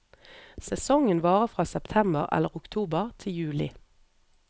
Sesongen varer fra september eller oktober til juli.